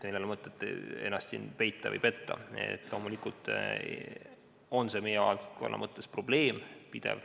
Meil ei ole mõtet siin ennast peita või petta, loomulikult on see meie valdkonnas pidev probleem.